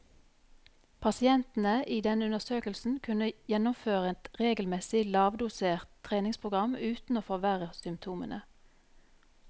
Pasientene i denne undersøkelsen kunne gjennomføre et regelmessig, lavdosert treningsprogram uten å forverre symptomene.